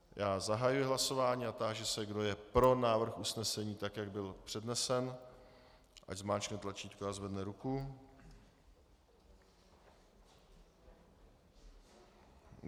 Já zahajuji hlasování a táži se, kdo je pro návrh usnesení tak, jak byl přednesen, ať zmáčkne tlačítko a zvedne ruku.